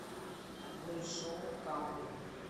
большому камню